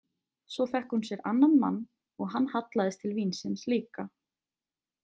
Svo fékk hún sér annan mann og hann hallaðist til vínsins líka.